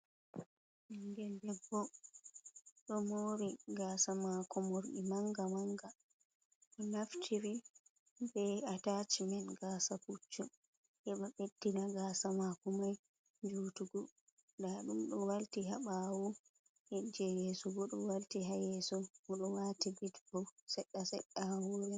Ɓingel debbo ɗo mori gasa ma ko morɗi manga manga, bo naftire be ataceman gasa puccu heba ɓeddina gasa mako mai jutugo, nda ɗum ɗo walti haɓawo heje yeso bo do walti ha yeso bo ɗo wati bet bo sedda sedda ha hore.